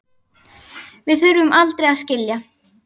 Við þurfum aldrei að skilja.